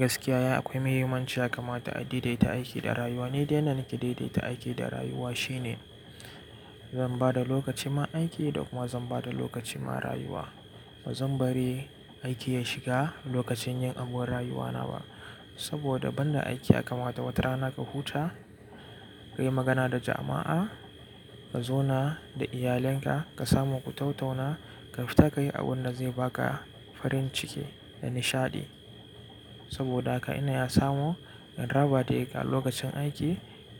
Gaskiya ya yi akwai mahimmanci ya kamata a daidaita aiki da rayuwa. Ni dai yanda nake daidaita aiki da rayuwa shine zan bada lokacin ma aiki da kuma zan ba da lokaci ma rayuwa. Ba zan bari aiki ya shiga lokacin yin abun rayuwana ba saboda ban da aiki ya kamata wata rana ka huta, kayi magana da jama'a, ka zauna da iyalinka, ka samu ku tattauna, ka fita kayi abun da zai baka farin ciki da nishaɗi. Saboda haka ina iya samu in raba daga lokacin aiki